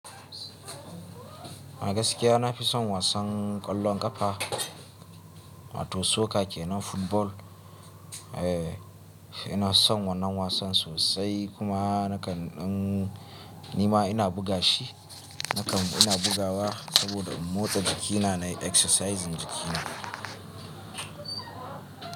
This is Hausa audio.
Agaskiya na fi son wasan ƙwallon ƙafa, wato soccer kenan football. Eh, ina son wannan wasan sosai kuma nakan ɗan nima ina buga shi. Nakan ina bugawa saboda in motsa jikina na yi exercise jikina.